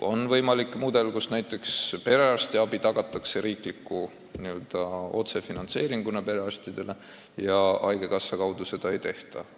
On võimalik mudel, kus näiteks perearstiabi tagatakse riigi otsefinantseeringuna perearstidele ja haigekassa kaudu seda ei tehta.